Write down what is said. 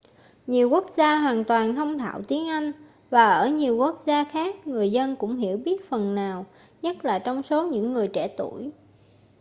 nhiều quốc gia hoàn toàn thông thạo tiếng anh và ở nhiều quốc gia khác người dân cũng hiểu biết phần nào nhất là trong số những người trẻ tuổi